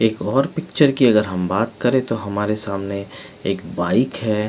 एक और पिक्चर की अगर हम बात करे तो हमारे सामने एक बाइक है.